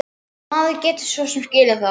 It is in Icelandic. Og maður getur svo sem skilið það.